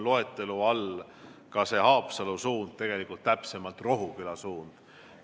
Loetelus on ka see Haapsalu suund, täpsemalt küll Rohuküla suund.